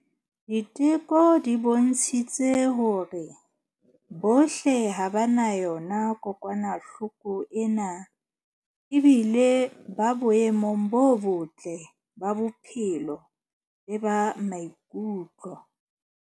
Diteko di bontshitse hore bohle ha ba na yona kokwanahloko ena ebile ba boemong bo botle ba bophelo le ba maikutlo.